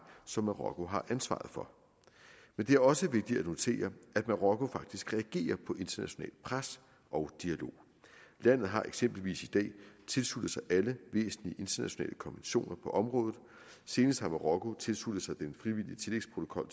som marokko har ansvaret for men det er også vigtigt at notere at marokko faktisk reagerer på internationalt pres og dialog landet har eksempelvis i dag tilsluttet sig alle væsentlige internationale konventioner på området senest har marokko tilsluttet sig den frivillige tillægsprotokol